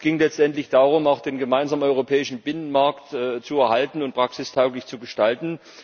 Es ging letztendlich darum, auch den gemeinsamen europäischen Binnenmarkt zu erhalten und praxistauglich zu gestalten.